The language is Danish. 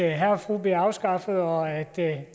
herre og fru bliver afskaffet og at